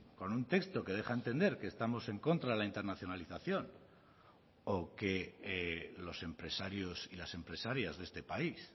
con un texto que deja a entender que estamos en contra de la internacionalización o que los empresarios y las empresarias de este país